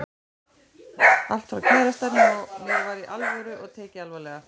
Allt hjá kærastanum og mér var Í ALVÖRU og tekið alvarlega.